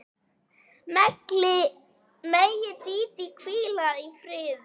Megi Dídí hvíla í friði.